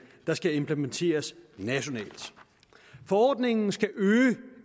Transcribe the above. der skal implementeres nationalt forordningen skal øge